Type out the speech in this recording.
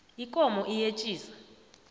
ikomo iyetjisa